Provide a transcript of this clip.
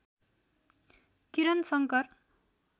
Kiran Shankar